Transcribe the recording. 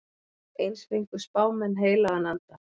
Eins fengu spámenn heilagan anda.